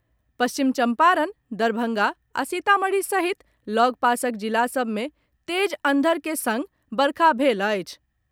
पश्चिम चम्पारण, दरभंगा आ सीतामढ़ी सहित लगपासक जिला सभ मे तेज अंधर के संग वर्षा भेल अछि।